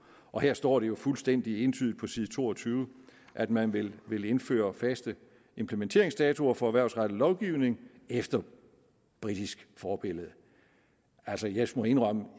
og her står det jo fuldstændig entydigt på side to og tyve at man vil vil indføre faste implementeringsdatoer for erhvervsrettet lovgivning efter britisk forbillede altså jeg må indrømme at